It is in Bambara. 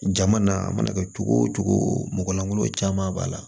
Jama na a mana kɛ cogo o cogo mɔgɔ lankolo caman b'a la